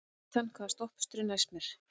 Nathan, hvaða stoppistöð er næst mér?